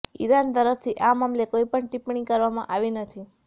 Iran તરફથી આ મામલે કોઈ પણ ટિપ્પણી કરવામાં આવી નથી